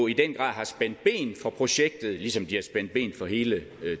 i den grad har spændt ben for projektet ligesom de har spændt ben for hele